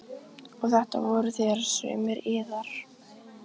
Og þetta voruð þér, sumir yðar.